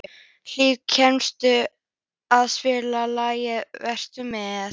Hlíf, kanntu að spila lagið „Vertu með“?